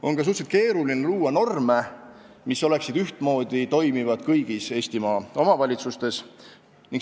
On ka suhteliselt keeruline luua norme, mis oleksid ühtmoodi toimivad kõigis Eestimaa omavalitsustes.